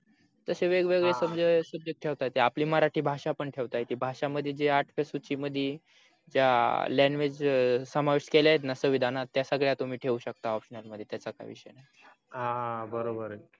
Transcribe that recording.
तस वेगवेगळे सब subject ठेवता येत आपली मराठी भाषा पण ठेवता येते भाषामध्ये जे आठ च्या सूची मध्ये ज्या language समावेश केल्या आहेत णा संविधानात त्या सगळ्या तुम्ही ठेऊ शकता optional मध्ये त्याच्या काही विषय नाही हा हा बरोबर आहे